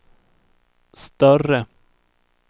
större